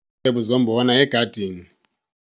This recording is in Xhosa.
Izikhwebu zombona egadini.